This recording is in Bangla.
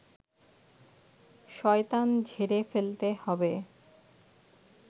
শয়তান ঝেড়ে ফেলতে হবে